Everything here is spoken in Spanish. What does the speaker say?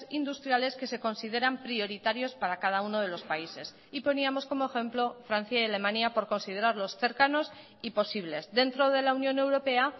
industriales que se consideran prioritarios para cada uno de los países y poníamos como ejemplo francia y alemania por considerarlos cercanos y posibles dentro de la unión europea